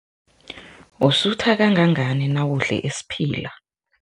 Usutha kangangani nawudle isiphila?